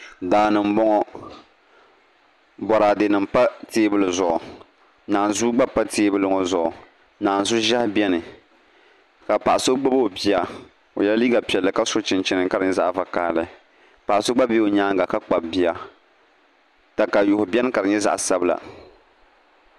Daani n boŋo Boraadɛ nim pa teebuli zuɣu naanzuu gba pa teebuli ŋo zuɣunaanzu ʒiɛhi biɛni ka paɣa so gbubi o bia o yɛla liiga piɛlli ka si chinchin ka di nyɛ zaɣ vakaɣali paɣa so gba bɛ o nyaanga ka kpabi bia katayuu biɛni ka di nyɛ zaɣ sabila